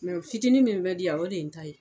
fitinin min bɛ di yan o de ye n ta ye